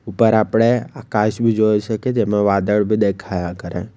ઉપર આપણે આકાશ બી જોઈ શકીએ જેમાં વાદળ બી દેખાયા કરે.